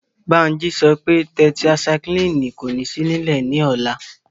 Bánjí sọ pé tẹtaisaiklínì kò ní sí nílẹ̀ ní ọ̀la